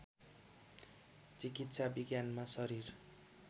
चिकित्सा विज्ञानमा शरीर